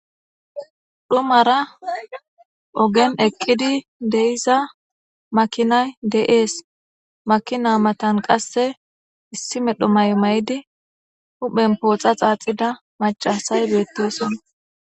dhumara ogen eqqidi deiza makinay de7ees makina matan qasse issi medho may may7idi huphen pooxa xaaxida macasay beettesona